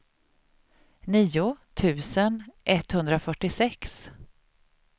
nio tusen etthundrafyrtiosex